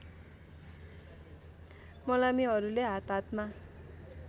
मलामीहरूले हात हातमा